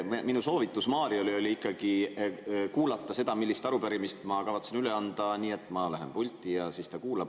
Minu soovitus Mariole oli ikkagi kuulata seda, millist arupärimist ma kavatsen üle anda, et ma lähen pulti ja siis ta kuulab.